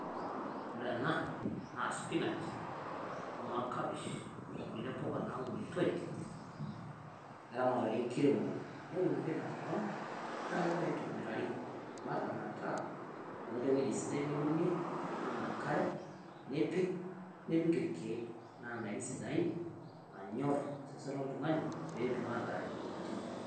Ore enaa naa spinach o noo kabiich o nkulee mbukaa naunutoo. Eramatare nkiromore neunore te nkopang naa kejiraa atobirari baraa metaa enotoo ewueji sidai niwuene nituum enkaree nipiik nipiik elkeek. Naa ndaakini sidain naanyorr seesen lo iltung'ani pee etuum aitare moyaritin.